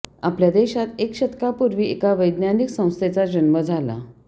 आपल्या देशात एका शतकापूर्वी एका वैज्ञानिक संस्थेचा जन्म झाला